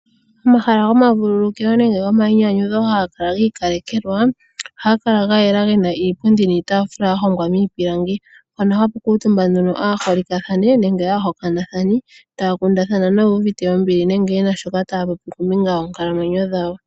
Omahala gomavululukilo nenge gomayinyanyudho hagakala giikalekelwa. Ohagakala gayela gena iipundi niitafula yahongwa miipilangi mpono hapukuutumba nduno aaholikathane nenge aahokanathani taakundathana noyuuvite ombili nenge yena shoka taapopi kombinga yoonkalamwenyo dhawo.